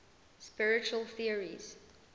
spiritual theories